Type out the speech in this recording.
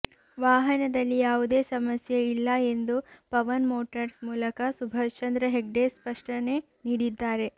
ವಾಹನದಲ್ಲಿ ಯಾವುದೇ ಸಮಸ್ಯೆ ಇಲ್ಲ ಎಂದು ಪವನ್ ಮೊಟಾರ್ಸ್ ಮಾಲಕ ಸುಭಾಷ್ ಚಂದ್ರ ಹೆಗ್ಡೆ ಸ್ಪಷ್ಟನೆ ನೀಡಿದ್ದಾರೆ